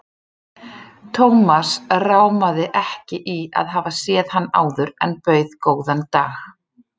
Thomas rámaði ekki í að hafa séð hann áður en bauð góðan dag.